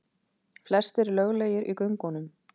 Flestir löglegir í göngunum